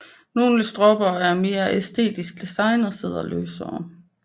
Nogle stropper er af mere æstetisk design og sidder løsere